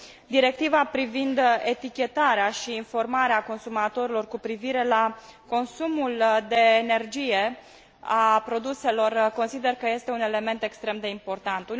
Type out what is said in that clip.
Directiva privind etichetarea și informarea consumatorilor cu privire la consumul de energie al produselor consider că este un element extrem de important.